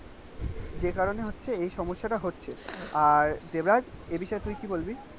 যে কারনে হচ্ছে এই সমস্যা টা হচ্ছে আর দেবরাজ এই বিষয়ে তুই কী বলবি?